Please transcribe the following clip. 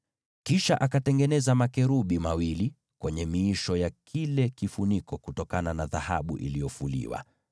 Kisha akatengeneza makerubi wawili wa dhahabu iliyofuliwa katika miisho ya hicho kifuniko.